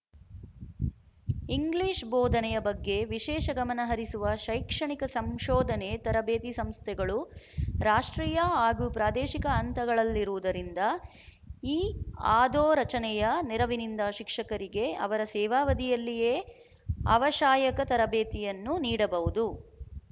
English ಬೋಧನೆಯ ಬಗ್ಗೆ ವಿಶೇಷ ಗಮನ ಹರಿಸುವ ಶೈಕ್ಷಣಿಕ ಸಂಶೋಧನೆ ತರಬೇತಿ ಸಂಸ್ಥೆಗಳು ರಾಷ್ಟ್ರೀಯ ಹಾಗೂ ಪ್ರಾದೇಶಿಕ ಹಂತಗಳಲ್ಲಿರುವುದರಿಂದ ಈ ಆಧೋರಚನೆಯ ನೆರವಿನಿಂದ ಶಿಕ್ಷಕರಿಗೆ ಅವರ ಸೇವಾವಧಿಯಲ್ಲಿಯೇ ಆವಷಾಯಕ ತರಬೇತಿಯನ್ನು ನೀಡಬಹುದು